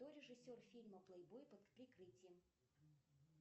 кто режиссер фильма плейбой под прикрытием